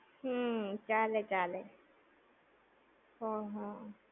હમ્મ, ચાલે ચાલે. હમ હમ